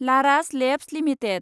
Laurus Labs limited